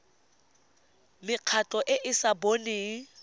mekgatlho e e sa boneng